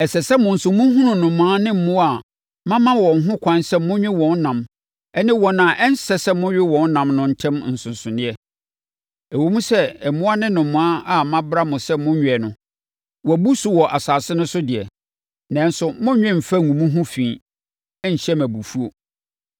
“ ‘Ɛsɛ sɛ mo nso mohunu nnomaa ne mmoa a mama mo ho ɛkwan sɛ monwe wɔn nam ne wɔn a ɛnsɛ sɛ mowe wɔn nam no ntam nsonsonoeɛ. Ɛwom sɛ mmoa ne nnomaa a mabra sɛ monnnwe no, wɔabu so wɔ asase no so deɛ, nanso monnnwe mfa ngu mo ho fi nhyɛ me abufuo.